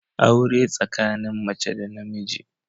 Aure tsakanin mace da namiji